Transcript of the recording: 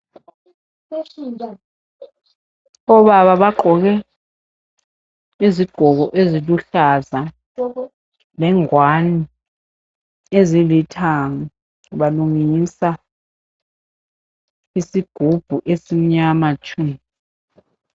Obaba bagqoke izigqoko eziluhlaza lengwane ezilithanga balungisa isigubhu esimnyama tshu.